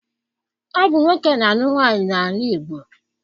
Ọ bụ nwoke na-alụ nwaanyị n'ala Igbo.